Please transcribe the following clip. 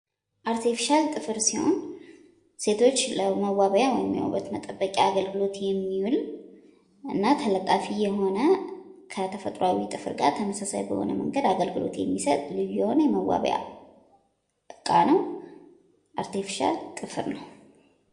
አርቴፍሻል ጥፍር ሲሆን ሴቶች ለመዋቢያ ወይም የዉበት መጠበቂያ አገልግሎት የሚዉል እና ተለጣፊ የሆነ ከተፈጥሮዋዊ ጥፍር ጋር ተመሳሳይ በሆነ መንገድ አገልግሎት የሚሰጥ ልዩ የሆነ የመዋቢያ እቃ ነዉ። አርቴፍሻል ጥፍር ነዉ።